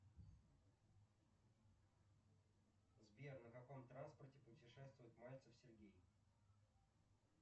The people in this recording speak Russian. сбер на каком транспорте путешествует мальцев сергей